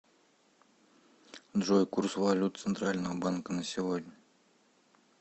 джой курс валют центрального банка на сегодня